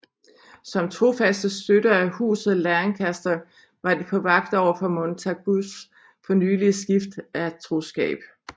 Som trofaste støtter af Huset Lancaster var de på vagt over for Montagus fornylige skift af troskab